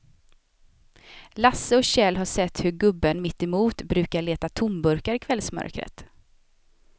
Lasse och Kjell har sett hur gubben mittemot brukar leta tomburkar i kvällsmörkret.